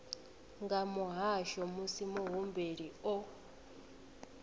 nga muhasho musi muhumbeli o